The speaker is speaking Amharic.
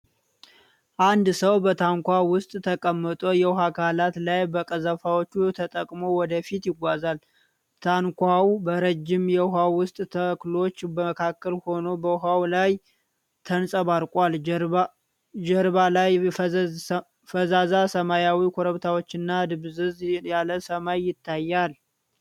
አንድ ሰው በታንኳ ውስጥ ተቀምጦ የውሃ አካል ላይ በቀዘፋዎቹ ተጠቅሞ ወደፊት ይጓዛል። ታንኳው በረጅም የውሃ ውስጥ ተክሎች መካከል ሆኖ በውሃው ላይ ተንጸባርቋል። ጀርባ ላይ ፈዛዛ ሰማያዊ ኮረብታዎችና ድብዝዝ ያለ ሰማይ ይታያል።